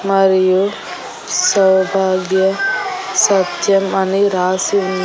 మరియు సౌభాగ్య సత్యం అని రాసి వున్న--